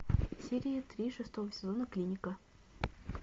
серия три шестого сезона клиника